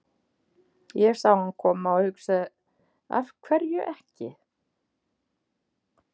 Ég sá hann koma og hugsaði af hverju ekki?